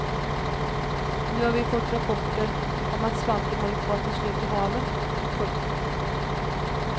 Nu har vi fått rapporter om att svampen håller på att ta slut i haven. punkt